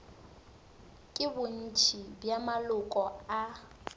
ke bontši bja maloko a